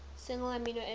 single amino acid